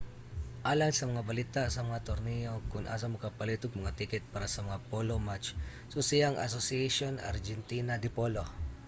alang sa mga balita sa mga torneyo ug kon asa makapalit og mga tiket para sa mga polo match susiha ang asociacion argentina de polo